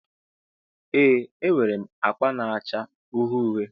Ee enwere m akpa na-acha uhie uhie.